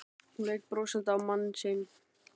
Hún leit brosandi á mann sinn.